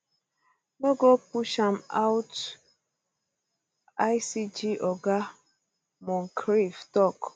no g push am out icg oga moncrieff tok